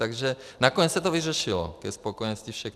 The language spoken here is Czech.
Takže nakonec se to vyřešilo ke spokojenosti všech.